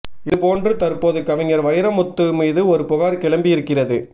இது போன்று தற்போது கவிஞூர் வைரமுத்து மீதும் ஒரு புகார் கிளம்பியிருக்கிறது